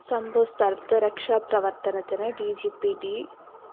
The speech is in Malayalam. സംഭവസ്ഥലത്ത് രക്ഷാപ്രവര്‍ത്തനത്തിന് ഡി ജി പി ട്‌